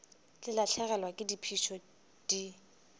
di lahlegelwa ke phišo di